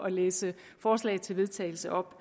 at læse forslaget til vedtagelse op